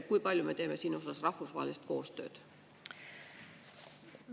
Kui palju me teeme siin osas rahvusvahelist koostööd?